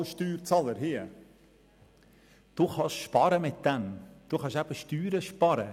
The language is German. Als Steuerzahler können Sie damit Steuern sparen.